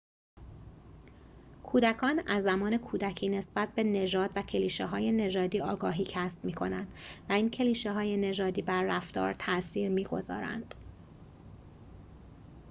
کودکان از زمان کودکی نسبت به نژاد و کلیشه های نژادی آگاهی کسب می‌کنند و این کلیشه های نژادی بر رفتار تأثیر می گذارند